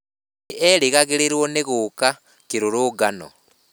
Nĩ erĩgagĩrĩrũo nĩ gũka kĩrũrũngano.